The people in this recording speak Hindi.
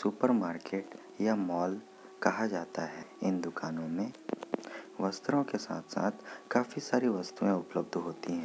सुपर मार्केट या मॉल कहा जाता है इन दुकानों मे वस्त्रो के साथ-साथ काफी सारी वस्तुए उपलब्ध होती है।